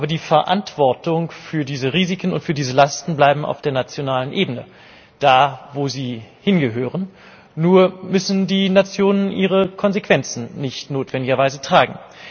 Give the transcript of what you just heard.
Aber die Verantwortung für diese Risiken und für diese Lasten bleibt auf der nationalen Ebene, da, wo sie hingehört. Nur müssen die Nationen ihre Konsequenzen nicht notwendigerweise tragen.